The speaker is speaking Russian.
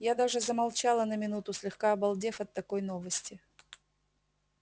я даже замолчала на минуту слегка обалдев от такой новости